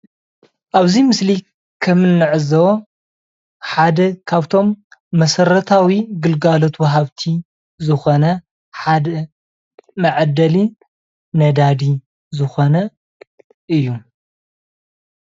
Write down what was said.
ኣብዚ ምስሊ ከምንዕዘቦ ሓደ ካብቶም መሰረታዊ ግልጋሎት ወሃብቲ ዝኾነ ሓደ መዐደሊ ነዳዲ ዝኾነ እዩ።